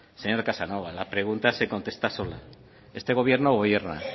señor casanova la pregunta se contesta sola